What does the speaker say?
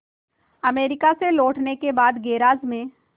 America से लौटने के बाद गैराज में